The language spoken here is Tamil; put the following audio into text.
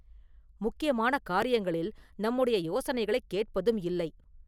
முக்கியமான காரியங்களில் நம்முடைய யோசனைகளைக் கேட்பதும் இல்லை.